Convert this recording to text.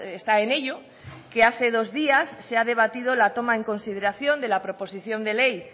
está en ello que hace dos días se ha debatido la toma en consideración de la proposición de ley